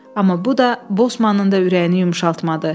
Amma bu da Bosmanın da ürəyini yumşaltmadı.